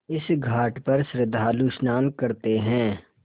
इस घाट पर श्रद्धालु स्नान करते हैं